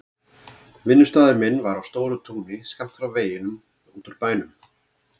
Vinnustaður minn var á stóru túni skammt frá veginum út úr bænum.